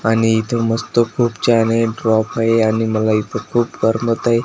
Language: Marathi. आणि इथे मस्त खूप छान हे ड्रॉप आहे आणि मला इथे खूप गरम होतंय.